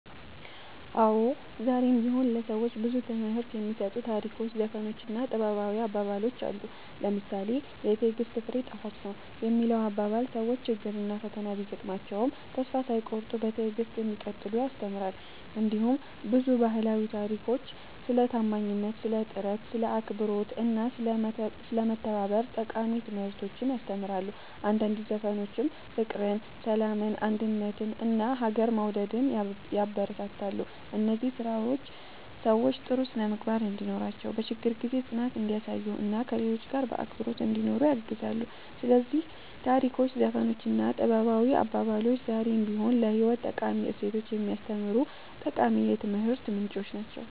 አዎ፣ ዛሬም ቢሆን ለሰዎች ብዙ ትምህርት የሚሰጡ ታሪኮች፣ ዘፈኖች እና ጥበባዊ አባባሎች አሉ። ለምሳሌ ‘የትዕግሥት ፍሬ ጣፋጭ ነው’ የሚለው አባባል ሰዎች ችግርና ፈተና ቢያጋጥማቸውም ተስፋ ሳይቆርጡ በትዕግሥት እንዲቀጥሉ ያስተምራል። እንዲሁም ብዙ ባህላዊ ታሪኮች ስለ ታማኝነት፣ ስለ ጥረት፣ ስለ አክብሮት እና ስለ መተባበር ጠቃሚ ትምህርቶችን ያስተምራሉ። አንዳንድ ዘፈኖችም ፍቅርን፣ ሰላምን፣ አንድነትን እና ሀገርን መውደድን ያበረታታሉ። እነዚህ ስራዎች ሰዎች ጥሩ ስነ-ምግባር እንዲኖራቸው፣ በችግር ጊዜ ጽናት እንዲያሳዩ እና ከሌሎች ጋር በአክብሮት እንዲኖሩ ያግዛሉ። ስለዚህ ታሪኮች፣ ዘፈኖች እና ጥበባዊ አባባሎች ዛሬም ቢሆን ለህይወት ጠቃሚ እሴቶችን የሚያስተምሩ ጠቃሚ የትምህርት ምንጮች ናቸው።"